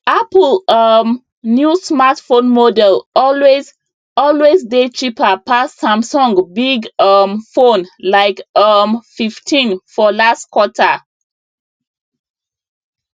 apple um new smartphone model always always dey cheaper pass samsung big um fone like um fifteen for last quater